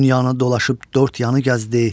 Dünyanı dolaşıb dörd yanı gəzdi.